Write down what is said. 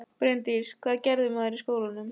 Bryndís: Hvað gerir maður í skólanum?